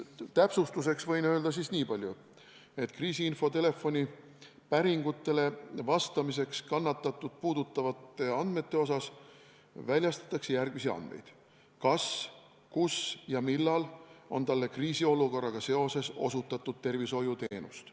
Täpsustuseks võin öelda nii palju, et kriisiinfotelefoni päringutele vastamisel väljastatakse järgmisi kannatanut puudutavaid andmeid: kas, kus ja millal on talle kriisiolukorraga seoses osutatud tervishoiuteenust.